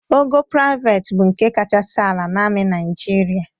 Ogo prịavet bụ nke kachasị ala na amị Naịjịrịa.